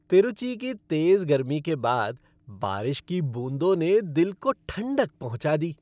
तिरूचि की तेज़ गर्मी के बाद बारिश की बूंदों ने दिल को ठंडक पहुंचा दी।